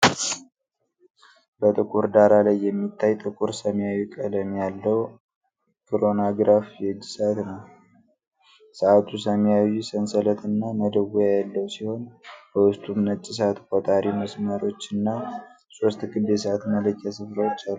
በጥቁር ዳራ ላይ የሚታይ ጥቁር ሰማያዊ ቀለም ያለው ክሮኖግራፍ የእጅ ሰዓት ነው። ሰዓቱ ሰማያዊ ሰንሰለትና መደወያ ያለው ሲሆን፣ በውስጡም ነጭ ሰዓት ቆጣሪ መስመሮችና ሶስት ክብ የሰዓት መለኪያ ስፍራዎች አሉ።